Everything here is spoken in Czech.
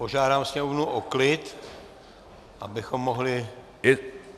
Požádám sněmovnu o klid, abychom mohli...